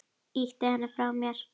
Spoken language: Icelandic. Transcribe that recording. Ýti henni frá mér.